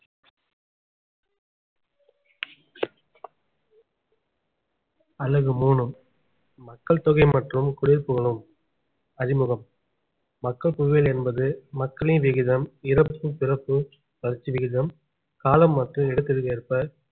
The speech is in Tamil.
அலகு மூணு மக்கள் தொகை மற்றும் குடியிருப்புகளும் அறிமுகம் மக்கள் புவியியல் என்பது மக்களின் விகிதம் இறப்பு பிறப்பு வளர்ச்சி விகிதம் காலம் மற்றும் இடத்திற்கு ஏற்ப